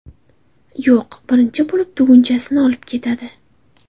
Yo‘q, birinchi bo‘lib, tugunchasini olib ketadi.